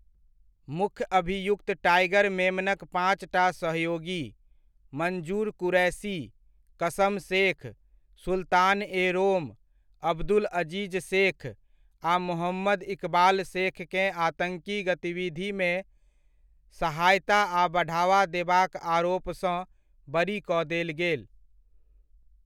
मुख्य अभियुक्त टाइगर मेमनक पाँचटा सहयोगी, मंजूर कुरैशी, कसम शेख, सुल्तान ए रोम, अब्दुल अजीज शेख आ मोहम्मद इकबाल शेखकेँ आतङ्की गतिविधिमे सहायता आ बढ़ावा देबाक आरोपसँ बरी कऽ देल गेल।